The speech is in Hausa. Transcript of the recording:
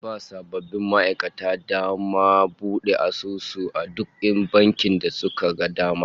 Za'a ba sabbin ma'aikatan dama su bude asusu a duk bankin da suka ga dama